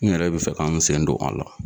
N yɛrɛ bɛ fɛ k'an sen don a la.